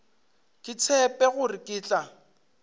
ke tshepe gore ke tla